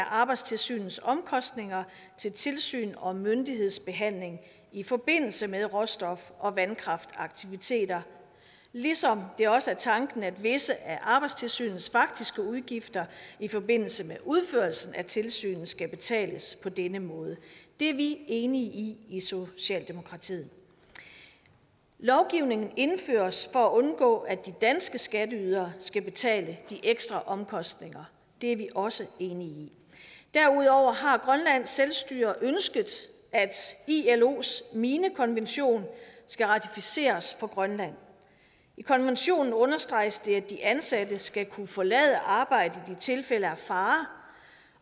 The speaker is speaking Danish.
arbejdstilsynets omkostninger til tilsyn og myndighedsbehandling i forbindelse med råstof og vandkraftaktiviteter ligesom det også er tanken at visse af arbejdstilsynets faktiske udgifter i forbindelse med udførelsen af tilsynet skal betales på denne måde det er vi enige i i socialdemokratiet lovgivningen indføres for at undgå at de danske skatteydere skal betale de ekstra omkostninger det er vi også enige i derudover har grønlands selvstyre ønsket at ilos minekonvention skal ratificeres for grønland i konventionen understreges det at de ansatte skal kunne forlade arbejdet i tilfælde af fare